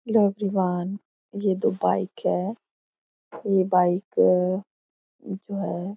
hello everyone ये दो bike है ये बाइक आ जो है --